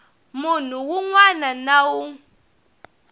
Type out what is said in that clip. munhu wun wana na wun